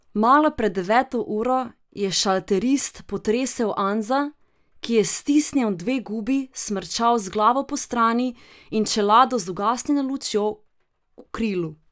Malo pred deveto uro je šalterist potresel Anza, ki je stisnjen v dve gubi smrčal z glavo postrani in čelado z ugasnjeno lučjo v krilu.